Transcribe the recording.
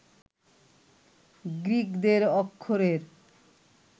গ্রিকদের অক্ষরের